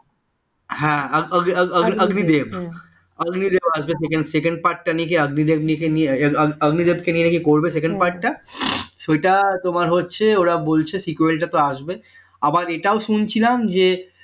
হ্যাঁ Agnidev Agnidev second part নিয়ে অগ্নিদেব ক নিয়ে কি করবে second part সেইটা তোমার হচ্ছে ওরা বলছে আসবে আবার এটাও শুনছিলাম যে